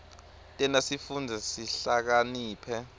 tenta sifundze sihlakaniphe